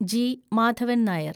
G. Madhavan Nair